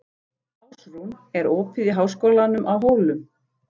Ásrún, er opið í Háskólanum á Hólum?